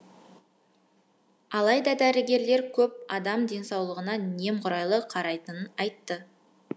алайда дәрігерлер көп адам денсаулығына немқұрайлы қарайтынын айтты